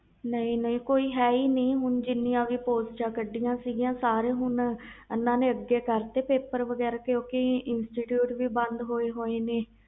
ਨਹੀਂ ਨਹੀਂ ਹੈ ਹੀ ਨਹੀਂ ਕੋਈ ਕਿਉਕਿ ਸਰਕਾਰ ਨੇ ਕੋਵਿਡ ਕਰਕੇ ਸਾਰੇ ਪੇਪਰ ਅੱਗੇ ਕਰਤੇ ਆ